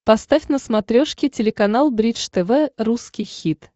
поставь на смотрешке телеканал бридж тв русский хит